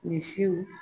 Misiw